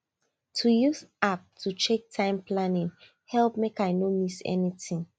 using app to check time planning help make i no miss anything